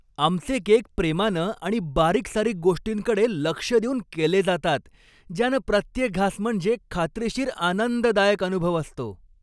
आमचे केक प्रेमानं आणि बारीकसारीक गोष्टींकडे लक्ष देऊन केले जातात, ज्यानं प्रत्येक घास म्हणजे खात्रीशीर आनंददायक अनुभव असतो.